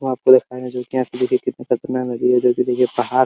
यहाँ पे जो कि देखिए पहाड़ है।